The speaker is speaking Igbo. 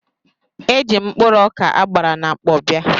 Eji m mkpụrụ ọkà a gbara na mkpọ bịa.